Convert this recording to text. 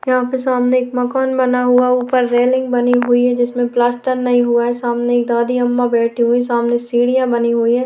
यहां पर सामने एक मकान बना हुआ ऊपर रेलिंग बनी हुई है जिसमें प्लास्टर नहीं हुआ है सामने एक दादी अम्मा बैठी हुई सामने सीढ़ियां बनी हुई है।